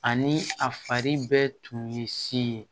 Ani a fari bɛɛ tun ye si ye